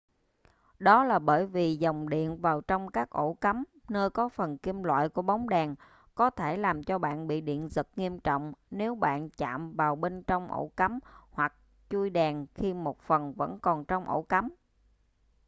đó là bởi vì dòng diện vào trong các ổ cắm nơi có phần kim loại của bóng đèn có thể làm cho bạn bị điện giật nghiêm trọng nếu bạn chạm vào bên trong ổ cắm hoặc chuôi đèn khi một phần vẫn còn trong ổ cắm